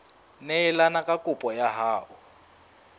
neelane ka kopo ya hao